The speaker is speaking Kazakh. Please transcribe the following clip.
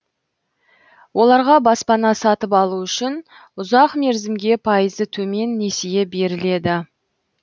оларға баспана сатып алу үшін ұзақ мерзімге пайызы төмен несие беріледі